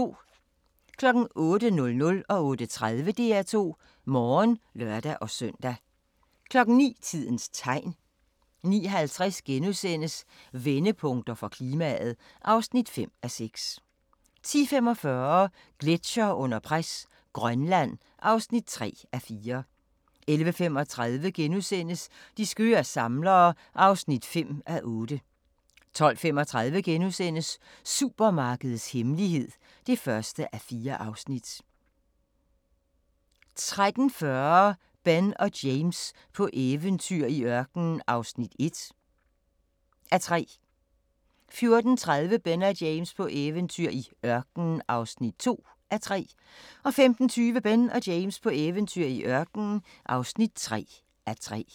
08:00: DR2 Morgen (lør-søn) 08:30: DR2 Morgen (lør-søn) 09:00: Tidens Tegn 09:50: Vendepunkter for klimaet (5:6)* 10:45: Gletsjere under pres – Grønland (3:4) 11:35: De skøre samlere (5:8)* 12:35: Supermarkedets hemmelighed (1:4)* 13:40: Ben og James på eventyr i ørkenen (1:3) 14:30: Ben og James på eventyr i ørkenen (2:3) 15:20: Ben og James på eventyr i ørkenen (3:3)